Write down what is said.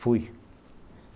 Fui.